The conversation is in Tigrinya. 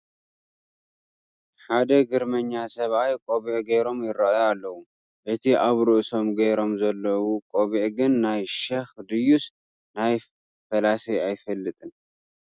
ሓደ ግርመኛ ሰብኣይ ቆቢዕ ገይሮም ይርአዩ ኣለዉ፡፡ እቲ ኣብ ርእሶመ ገይሮሞ ዘለዉ ቆቢዕ ግን ናይ ሸኽ ድዩስ ናይ ፈላሲ ኣይፍለጥን፡፡